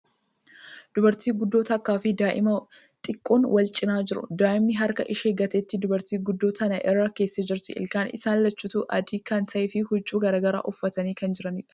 Dubartii guddoo takkaa fi daa'ima xiqqoon wal cinaa jiru. Daa'imni harka ishee gateettii dubartii guddoo tana irra keessee jirti. Ilkaan isaan lachuutuu adii kan ta'ee fi huccuu garagaraa uffatanii kan jiraniidha.